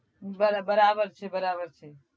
બરાબર છે બરાબર છે